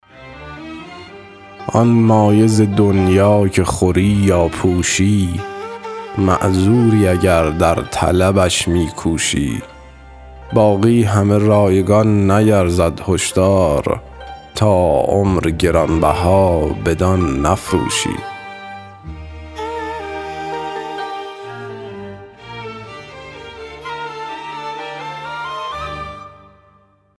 آن مایه ز دنیا که خوری یا پوشی معذوری اگر در طلبش می کوشی باقی همه رایگان نیرزد هش دار تا عمر گران بها بدان نفروشی